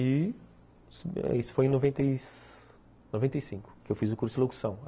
E isso foi em noventa e cinco, que eu fiz o curso de locução.